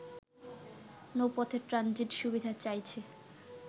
নৌপথে transit সুবিধা চাইছে